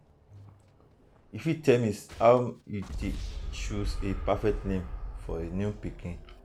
you fit tell me how you dey take choose a perfect name for a new baby?